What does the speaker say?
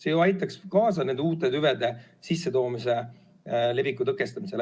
See ju aitaks kaasa uute tüvede sissetoomise ja leviku tõkestamisele.